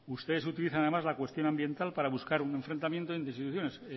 ustedes utilizan además la cuestión ambiental para buscar un enfrentamiento entre instituciones